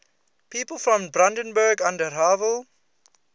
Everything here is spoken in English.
people from brandenburg an der havel